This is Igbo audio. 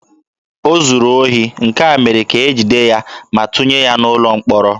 O zuru ohi, nke mere ka e jide ya ma tụnye ya n'ụlọ mkpọrọ.